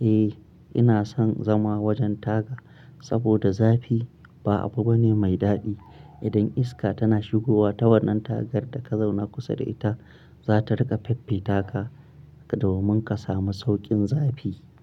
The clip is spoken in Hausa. eh ina son zama wajen taga. Saboda zafi ba abu bane mai daɗi. Idan iska tana shigowa ta wannan tagar da ka zauna kusa da ita, za ta rika fiffita ka domin ka samu sauƙin zafi.